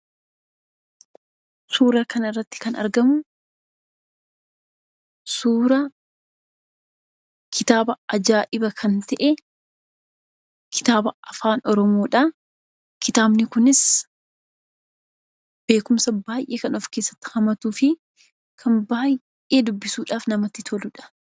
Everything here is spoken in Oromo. Suuraa kanarratti kan argamu suuraa ajaa'iba kan ta'e kitaaba Afaan Oromoodha. Kitaabni kunis beekumsa baay'ee kan of keessatti hammatuu fi kan dubbisuudhaaf baay'ee namatti toludha.